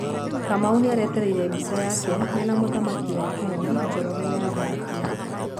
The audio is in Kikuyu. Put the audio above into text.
Kamau nĩarateteire mbica yake mena Muthamaki wa Kenya Njoroge wa Mbatia